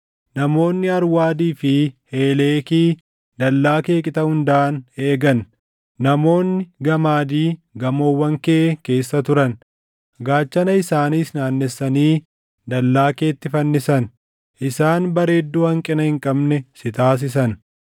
Namoonni Arwaadii fi Heeleekii dallaa kee qixa hundaan eegan; namoonni Gamaadii gamoowwan kee keessa turan. Gaachana isaaniis naannessanii dallaa keetti fannisan; isaan bareedduu hanqina hin qabne si taasisan.